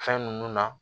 Fɛn ninnu na